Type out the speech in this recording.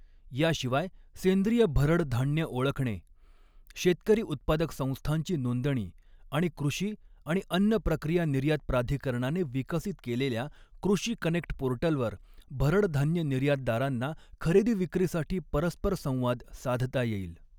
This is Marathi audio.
याशिवाय सेंद्रिय भरड धान्य ओळखणे, शेतकरी उत्पादक संस्थांची नोंदणी आणि कृषी आणि अन्न प्रक्रिया निर्यात प्राधिकरणाने विकसित केलेल्या कृषी कनेक्ट पोर्टलवर भरड धान्य निर्यातदारांना खरेदी विक्रीसाठी परस्पर संवाद साधता येईल.